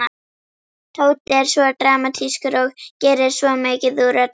Tóti er svo dramatískur og gerir svo mikið úr öllu.